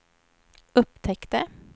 upptäckte